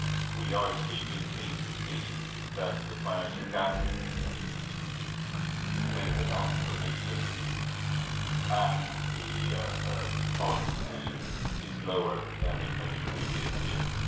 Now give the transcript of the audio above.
We are extremely pleased to see that the financial gap between the Council position and Parliament's position is lower than in many previous years.